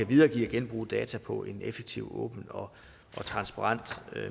videregive og genbruge data på en effektiv åben og transparent